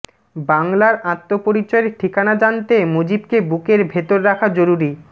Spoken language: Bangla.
বাংলার আত্মপরিচয়ের ঠিকানা জানতে মুজিবকে বুকের ভেতর রাখা জরুরি